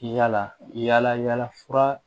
Yala yalafura